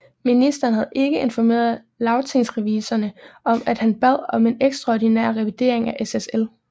Ministeren havde ikke informeret Lagtingsrevisorerne om at han bad om en ekstraordinær revidering af SSL